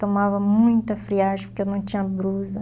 Tomava muita friagem porque eu não tinha blusa.